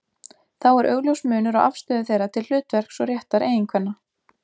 Þá er augljós munur á afstöðu þeirra til hlutverks og réttar eiginkvenna.